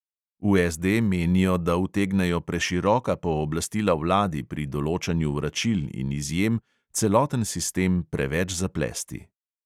V SD menijo, da utegnejo preširoka pooblastila vladi pri določanju vračil in izjem celoten sistem preveč zaplesti.